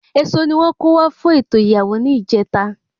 Èso ni wón kó wá fún ètò ìyàwó ní ìjeta